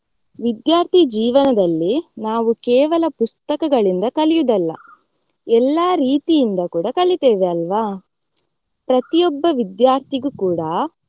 ವಿದ್ಯಾರ್ಥಿ ಜೀವನದಲ್ಲಿ ನಾವು ಕೇವಲ ಪುಸ್ತಕಗಳಿಂದ ಕಲಿಯುವುದಲ್ಲ ಎಲ್ಲಾ ರೀತಿಯಿಂದ ಕೂಡಾ ಕಲೀತೇವೆ ಅಲ್ವಾ ಪ್ರತಿಯೊಬ್ಬ ವಿದ್ಯಾರ್ಥಿಗೂ ಕೂಡಾ.